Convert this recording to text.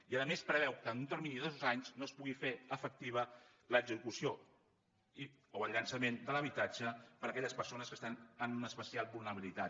i a més es preveu que en un termini de dos anys no es pugui fer efectiva l’execució o el llançament de l’habitatge per a aquelles persones que estan en una especial vulnerabilitat